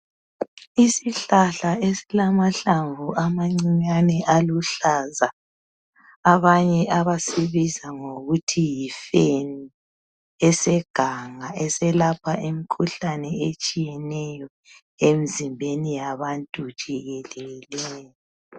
Isihlahla esilamahlamvu amancinyane aluhlaza ,abanye abasibiza ngokuthi Yi feni .Eseganga eselapha imikhuhlane etshiyeneyo emizimbeni yabantu jikelele.